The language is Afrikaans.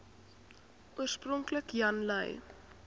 oorspronklik jan lui